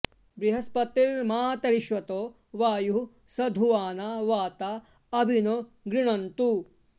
बृह॒स्पति॑र्मात॒रिश्वो॒त वा॒युः सं॑ धुवा॒ना वाता॑ अ॒भि नो॑ गृणन्तु